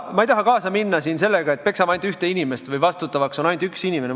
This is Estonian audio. Ma ei taha kaasa minna sellega, et peksame ainult ühte inimest või vastutav on ainult üks inimene.